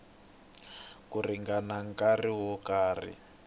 ku ringana nkarhi wo karhi